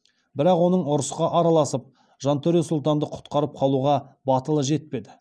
бірақ оның ұрысқа араласып жантөре сұлтанды құтқарып қалуға батылы жетпеді